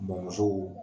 Bɔn so